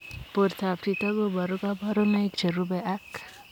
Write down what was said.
Portoop chitoo kobaruu kabarunaik cherubei ak